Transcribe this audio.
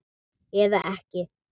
Eða ekki?